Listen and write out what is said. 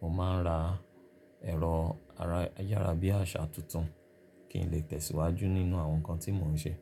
mò ma ra ẹ̀rọ ayárabíàṣá tuntun kí n lè tẹ̀síwájú nínú àwọn nkan tí mò ń ṣe.